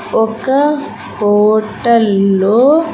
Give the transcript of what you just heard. ఒక హోటల్ లో.